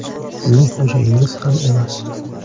Sizning xo‘jangiz ham emas.